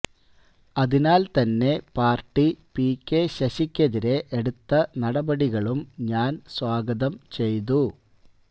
അതിനാല് തന്നെ party P K ശശിക്കെതിരെ എടുത്ത നടപടികളും ഞാന് സ്വാഗതം ചെയ്തു